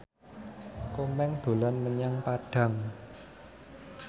Komeng dolan menyang Padang